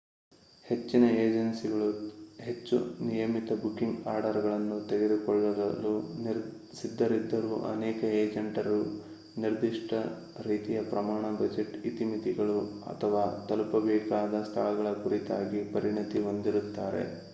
ಹೆಚ್ಚಿನ ಏಜೆನ್ಸಿಗಳು ಹೆಚ್ಚು ನಿಯಮಿತ ಬುಕಿಂಗ್ ಆರ್ಡರ್‌ಗಳನ್ನು ತೆಗೆದುಕೊಳ್ಳಲು ಸಿದ್ಧರಿದ್ದರೂ ಅನೇಕ ಏಜೆಂಟರು ನಿರ್ದಿಷ್ಟ ರೀತಿಯ ಪ್ರಯಾಣ ಬಜೆಟ್ ಇತಿಮಿತಿಗಳು ಅಥವಾ ತಲುಪಬೇಕಾದ ಸ್ಥಳಗಳ ಕುರಿತಾಗಿ ಪರಿಣತಿ ಹೊಂದಿರುತ್ತಾರೆ